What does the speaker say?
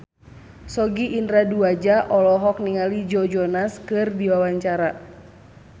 Sogi Indra Duaja olohok ningali Joe Jonas keur diwawancara